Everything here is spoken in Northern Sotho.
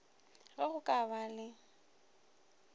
ge go ka ba le